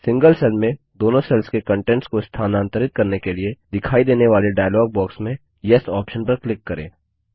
single cell में दोनों cells के कन्टेंट्स को स्थानांतरित करने के लिए दिखाई देने वाले डायलॉग बॉक्स में येस ऑप्शन पर क्लिक करें